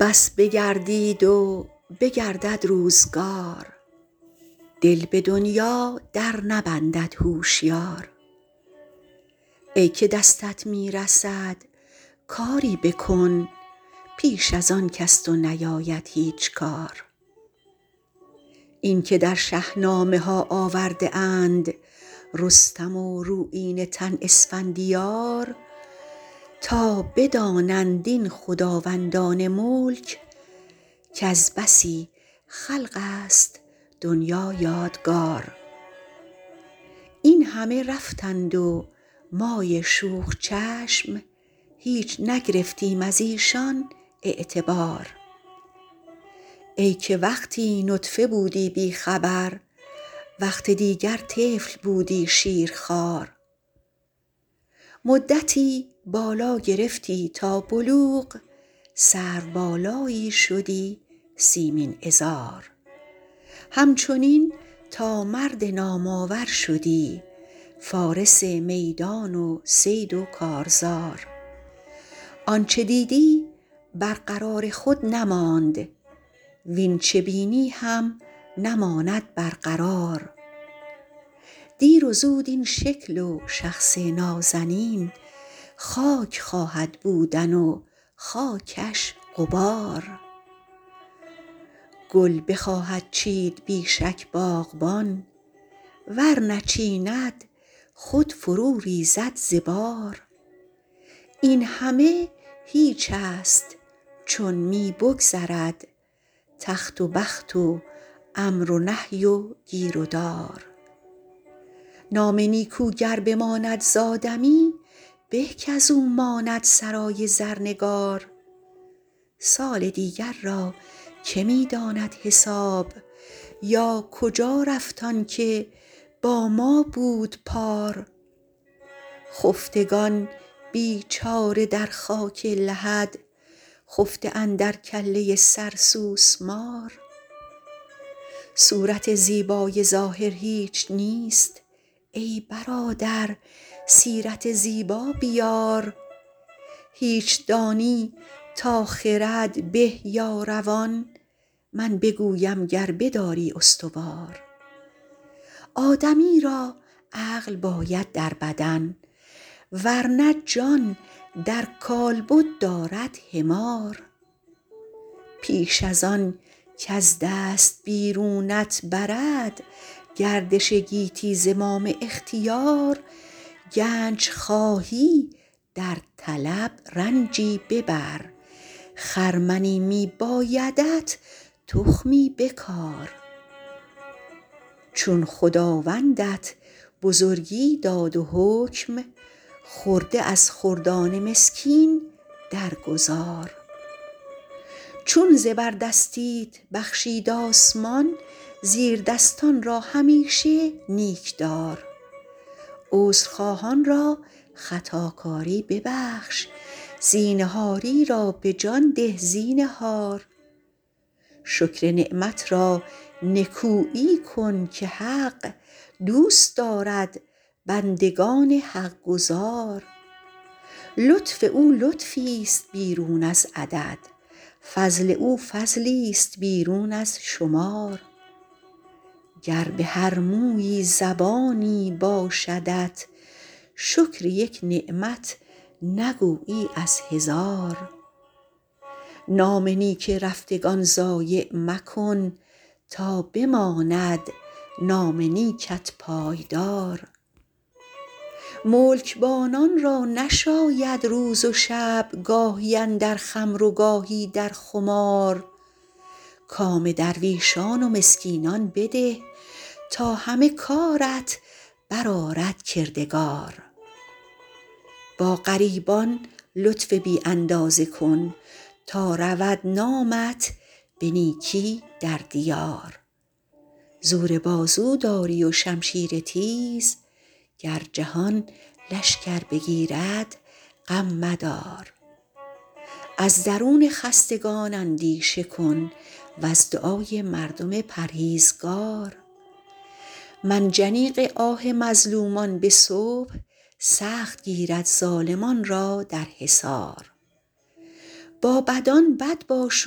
بس بگردید و بگردد روزگار دل به دنیا در نبندد هوشیار ای که دستت می رسد کاری بکن پیش از آن کز تو نیاید هیچ کار اینکه در شهنامه ها آورده اند رستم و رویینه تن اسفندیار تا بدانند این خداوندان ملک کز بسی خلق است دنیا یادگار این همه رفتند و مای شوخ چشم هیچ نگرفتیم از ایشان اعتبار ای که وقتی نطفه بودی بی خبر وقت دیگر طفل بودی شیرخوار مدتی بالا گرفتی تا بلوغ سرو بالایی شدی سیمین عذار همچنین تا مرد نام آور شدی فارس میدان و صید و کارزار آنچه دیدی بر قرار خود نماند واین چه بینی هم نماند بر قرار دیر و زود این شکل و شخص نازنین خاک خواهد بودن و خاکش غبار گل بخواهد چید بی شک باغبان ور نچیند خود فرو ریزد ز بار این همه هیچ است چون می بگذرد تخت و بخت و امر و نهی و گیر و دار نام نیکو گر بماند زآدمی به کاز او ماند سرای زرنگار سال دیگر را که می داند حساب یا کجا رفت آن که با ما بود پار خفتگان بیچاره در خاک لحد خفته اندر کله سر سوسمار صورت زیبای ظاهر هیچ نیست ای برادر سیرت زیبا بیار هیچ دانی تا خرد به یا روان من بگویم گر بداری استوار آدمی را عقل باید در بدن ور نه جان در کالبد دارد حمار پیش از آن کز دست بیرونت برد گردش گیتی زمام اختیار گنج خواهی در طلب رنجی ببر خرمنی می بایدت تخمی بکار چون خداوندت بزرگی داد و حکم خرده از خردان مسکین در گذار چون زبردستیت بخشید آسمان زیردستان را همیشه نیک دار عذرخواهان را خطاکاری ببخش زینهاری را به جان ده زینهار شکر نعمت را نکویی کن که حق دوست دارد بندگان حقگزار لطف او لطفیست بیرون از عدد فضل او فضلیست بیرون از شمار گر به هر مویی زبانی باشدت شکر یک نعمت نگویی از هزار نام نیک رفتگان ضایع مکن تا بماند نام نیکت پایدار ملکبانان را نشاید روز و شب گاهی اندر خمر و گاهی در خمار کام درویشان و مسکینان بده تا همه کارت بر آرد کردگار با غریبان لطف بی اندازه کن تا رود نامت به نیکی در دیار زور بازو داری و شمشیر تیز گر جهان لشکر بگیرد غم مدار از درون خستگان اندیشه کن وز دعای مردم پرهیزگار منجنیق آه مظلومان به صبح سخت گیرد ظالمان را در حصار با بدان بد باش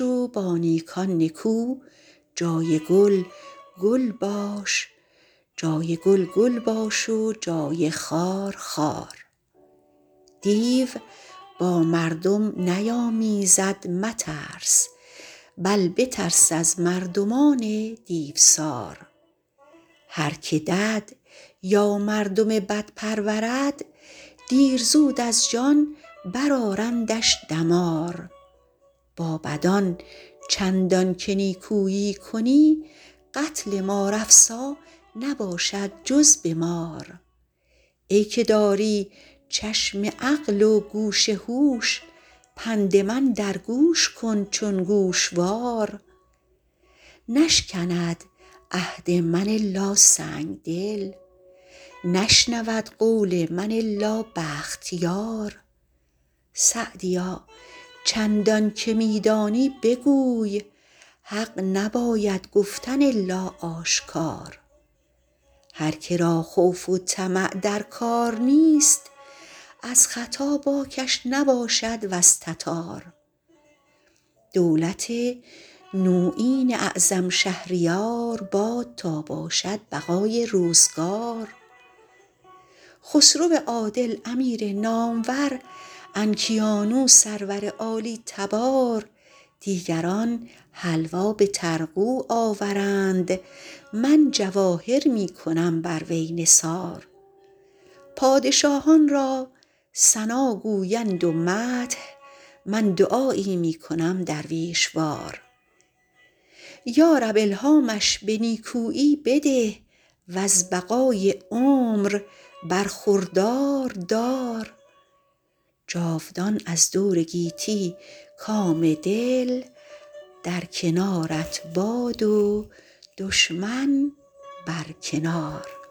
و با نیکان نکو جای گل گل باش و جای خار خار دیو با مردم نیامیزد مترس بل بترس از مردمان دیوسار هر که دد یا مردم بد پرورد دیر زود از جان بر آرندش دمار با بدان چندان که نیکویی کنی قتل مار افسا نباشد جز به مار ای که داری چشم عقل و گوش هوش پند من در گوش کن چون گوشوار نشکند عهد من الا سنگدل نشنود قول من الا بختیار سعدیا چندان که می دانی بگوی حق نباید گفتن الا آشکار هر که را خوف و طمع در کار نیست از ختا باکش نباشد وز تتار دولت نویین اعظم شهریار باد تا باشد بقای روزگار خسرو عادل امیر نامور انکیانو سرور عالی تبار دیگران حلوا به طرغو آورند من جواهر می کنم بر وی نثار پادشاهان را ثنا گویند و مدح من دعایی می کنم درویش وار یارب الهامش به نیکویی بده وز بقای عمر برخوردار دار جاودان از دور گیتی کام دل در کنارت باد و دشمن بر کنار